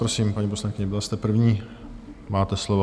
Prosím, paní poslankyně, byla jste první, máte slovo.